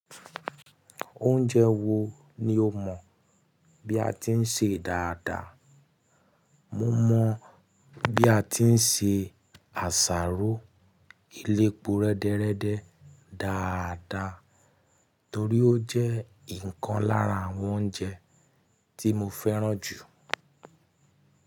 Oúnjẹ wo ni o mọ̀ bí a ti ń ṣe dáadáa? Mo mọ̀ bí a ti ń ṣe àsáró elépo rẹ́dẹ́rẹ́dẹ́ dáadáa torí ó jẹ́ ìkan lára àwọn oúnjẹ tí mo fẹ́ràn jù.